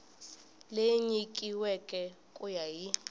leyi nyikiweke ku ya hi